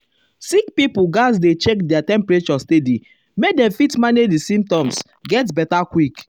sick pipo gatz dey check their temperature steady make dem fit manage di symptoms get beta quick.